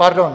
Pardon!